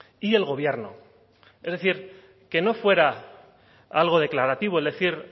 y el gobierno es decir que no fuera algo declarativo es decir